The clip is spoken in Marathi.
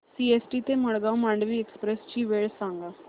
सीएसटी ते मडगाव मांडवी एक्सप्रेस ची वेळ सांगा